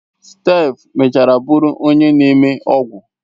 Steph mechara bụrụ onye na-eme ọgwụ.